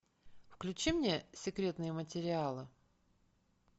включи мне секретные материалы